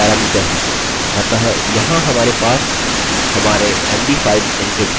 अतः यहाँ हमारे पास हमारे md5 एन्क्रिप्टेड पासवर्डस होंगे